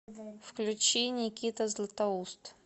включи никита златоуст